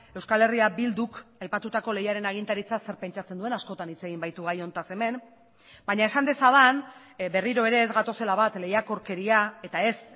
euskal herria bilduk aipatutako leiaren agintaritza zer pentsatzen duen askotan hitz egin baitu gai honetaz hemen baina esan dezadan berriro ere ez gatozela bat lehiakorkeria eta ez